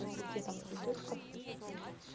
с букетом цветочков